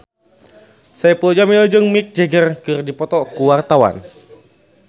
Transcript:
Saipul Jamil jeung Mick Jagger keur dipoto ku wartawan